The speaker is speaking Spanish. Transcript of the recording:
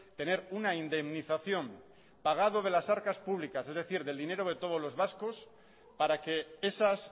tener una indemnización pagado de las arcar públicas es decir del dinero de todos los vascos para que esas